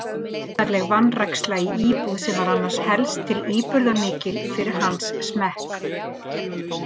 Undarleg vanræksla í íbúð sem var annars helst til íburðarmikil fyrir hans smekk.